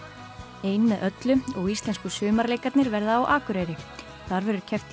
ein með öllu og Íslensku verða á Akureyri þar verður keppt í